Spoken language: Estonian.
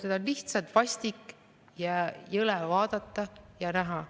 Seda on lihtsalt vastik ja jõle vaadata ja näha.